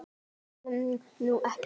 Bóndi hélt nú ekki.